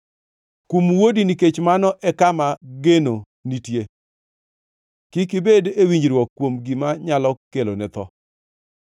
Kum wuodi, nikech mano e kama geno nitie; kik ibed e winjruok kuom gima nyalo kelone tho.